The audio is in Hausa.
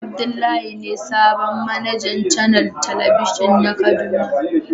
Abdullahi be sabon managan canel telebijin na kaduna.